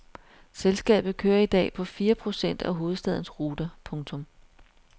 Selskabet kører i dag på fire procent af hovedstadens ruter. punktum